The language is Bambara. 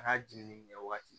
A n'a jiginni kɛ waati